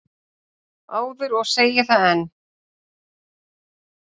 áður og segi það enn.